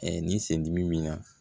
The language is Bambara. ni sen dimi bi na